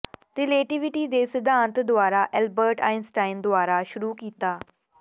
relativity ਦੇ ਸਿਧਾਂਤ ਦੁਆਰਾ ਐਲਬਰਟ ਆਇਨਸਟਾਈਨ ਦੁਆਰਾ ਸ਼ੁਰੂ ਕੀਤਾ